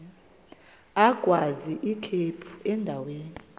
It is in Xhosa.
agwaz ikhephu endaweni